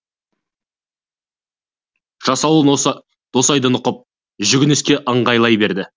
жасауыл досайды нұқып жүгініске ыңғайлай берді